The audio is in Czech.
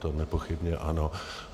To nepochybně ano.